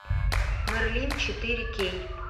мерлин четыре кей